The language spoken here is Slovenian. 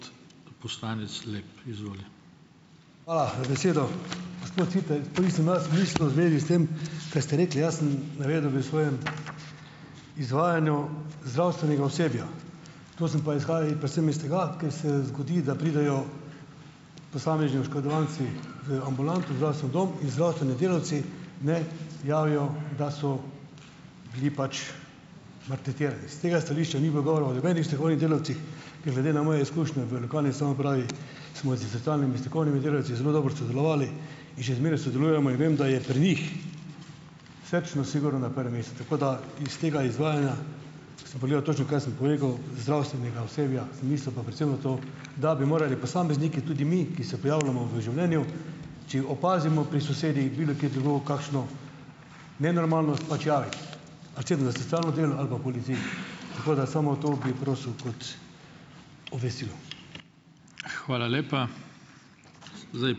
Hvala za besedo. Gospod Siter, nisem vas mislil v zvezi s tem, kar ste rekli, jaz sem navedel v svojem izvajanju zdravstvenega osebja, to sem pa izhajal predvsem iz tega, ker se zgodi, da pridejo posamezni oškodovanci v ambulanto, zdravstveni dom in zdravstveni delavci ne javijo, da so bili pač maltretirani. S tega stališča ni bilo govora o nobenih strokovnih delavcih, ker glede na moje izkušnje v lokalni samoupravi smo s socialnimi in strokovnimi delavci zelo dobro sodelovali in še zmeraj sodelujemo in vem, da je pri njih srčnost sigurno na prvem mestu. Tako da iz tega izvajanja, sem pogledal točno, kaj sem povedal, zdravstvenega osebja, sem mislil pa predvsem to, da bi morali posamezniki, tudi mi, ki se prijavljamo v življenju, če opazimo pri sosedih, bilokje drugod kakšno nenormalnost pač javiti na center za socialno delo ali pa policiji. Tako da samo to bi prosil kot obvestilo.